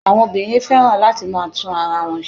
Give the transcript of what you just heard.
Àwọn obìnrin fẹ́ràn láti máa tún ara wọn se